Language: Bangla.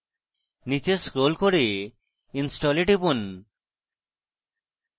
নীচে scroll করে install এ টিপুন